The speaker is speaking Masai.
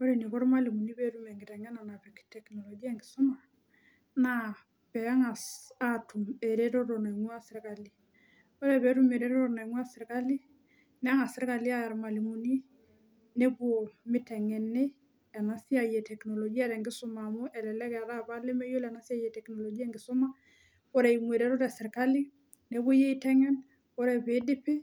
Ore eniko irmalimuni peetum enkiteng'ena napik teknolojia enkisuma naa peeng'as atum eretoto naing'ua sirkali ore peetum ereteto naing'a sirkali neng'as sirkali aaya irmalimuni nepuo miteng'eni ena siai e teknolojia tenkisuma amu elelek eetae apa ilemeyiolo ena siai e teknolojia enkisuma ore eimu eretoto esirkali nepuoi aiteng'en ore pidipi